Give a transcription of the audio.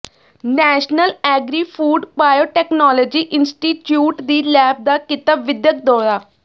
national agri food biotechnology institute ਦੀ lab ਦਾ ਕੀਤਾ ਵਿੱਦਿਅਕ ਦੌਰਾ